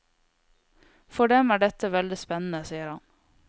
For dem er dette veldig spennende, sier han.